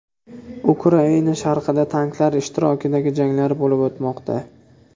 Ukraina sharqida tanklar ishtirokidagi janglar bo‘lib o‘tmoqda.